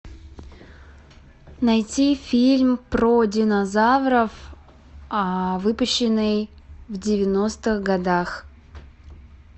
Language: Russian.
найти фильм про динозавров выпущенный в девяностых годах